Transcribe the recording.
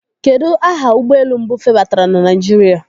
Kedụ aha ụgbọelu mbụ febatara na Naijiria?